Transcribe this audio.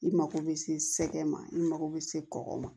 I mago bɛ se sɛgɛn ma i mako bɛ se kɔkɔ ma